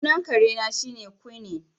Sunan kare na shine Quinine